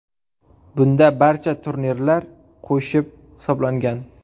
Bunda barcha turnirlar qo‘shib hisoblangan.